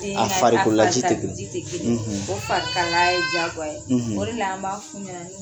A farikolola ji te bɔ. O fari kalaya ye wajibi ye jagoya ye, o de la an b'a f'u ɲɛna